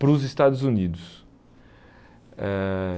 para os Estados Unidos. Eh